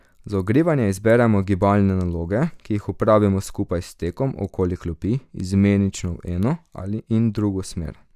Za ogrevanje izberemo gibalne naloge, ki jih opravimo skupaj s tekom okoli klopi, izmenično v eno in drugo smer.